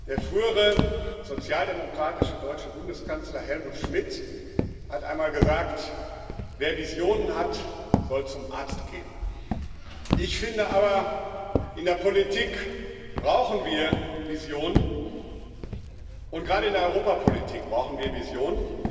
Der frühere sozialdemokratische deutsche Bundeskanzler Helmut Schmidt hat einmal gesagt Wer Visionen hat, soll zum Arzt gehen. Ich finde aber, in der Politik brauchen wir Visionen, und gerade in der Europapolitik brauchen wir Visionen.